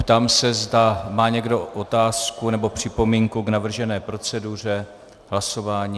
Ptám se, zda má někdo otázku nebo připomínku k navržené proceduře hlasování.